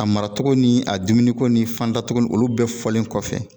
A mara cogo ni a dumuniko ni fanda cogo olu bɛɛ fɔlen kɔfɛ